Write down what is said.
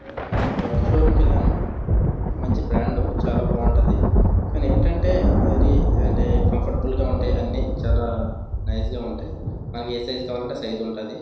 మొన్న Jockey showroom కి వెళ్ళాను. మంచి బ్రాండ్ చాలా బాగుంటది. కానీ ఏంటంటే ఎవరి కంఫర్టబుల్గా అన్ని చాలా నైస్ గా ఉంటాయి. మనకి ఏ సైజు కావాలంటే ఆ సైజు ఉంటది.